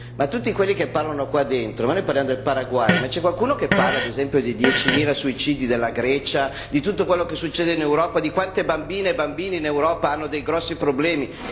Ma tutti quelli che parlano qua dentro, noi parliamo del Paraguay, ma c'è qualcuno che parla ad esempio dei diecimila suicidi della Grecia, di tutto quello che succede in Europa, di quante bambine e bambini in Europa hanno dei grossi problemi?